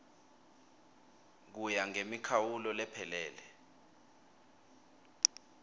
kuya ngemikhawulo lephelele